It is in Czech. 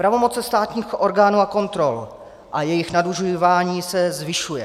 Pravomoce státních orgánů a kontrol a jejich nadužívání se zvyšují.